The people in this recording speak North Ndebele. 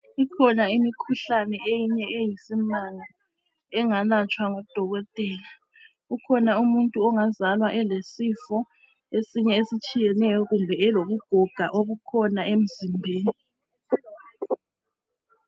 Ikhona imikhuhlane eminye eyisimanga engalatshwa ngudokotela. Ukhona umuntu ongazalwa elesifo esinye ezitshiyeneyo kumbe elobugoga obukhona emzimbeni.